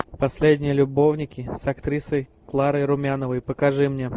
последние любовники с актрисой кларой румяновой покажи мне